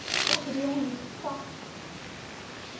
Pessoal, queriam isso, falar.